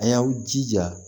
A y'aw jija